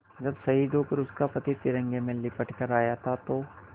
जब शहीद होकर उसका पति तिरंगे में लिपट कर आया था तो